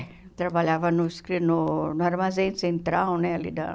Trabalhava no escri no no armazém central, né? Ali da